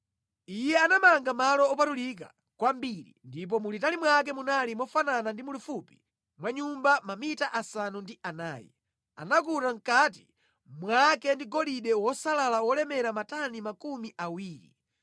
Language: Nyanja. Iye anamanga Malo Opatulika Kwambiri ndipo mulitali mwake munali mofanana ndi mulifupi mwa Nyumba mamita asanu ndi anayi. Anakuta mʼkati mwake ndi golide wosalala wolemera matani makumi awiri.